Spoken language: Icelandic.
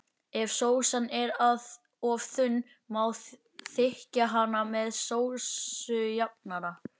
Ef sósan er of þunn má þykkja hana með sósujafnara.